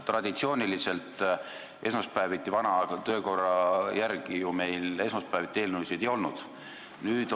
Traditsiooniliselt, vana töökorra järgi meil ju esmaspäeviti eelnõusid päevakorras ei olnud.